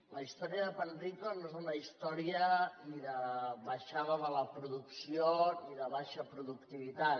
la història de panrico no és una història ni de baixada de la producció ni de baixa productivitat